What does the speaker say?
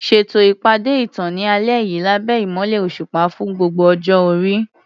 Ṣètò ìpàdé ìtàn ní alẹ́ yìí lábẹ́ ìmọ́lẹ̀ òṣùpá fún gbogbo ọjọ́ orí.